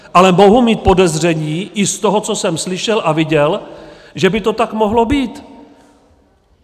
Ale mohu mít podezření i z toho, co jsem slyšel a viděl, že by to tak mohlo být.